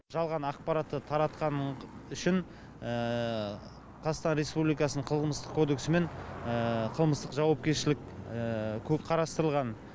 жалған ақпаратты таратқаны үшін қазақстан республикасының қылмыстық кодексі мен қылмыстық жауапкершілік қарастырылған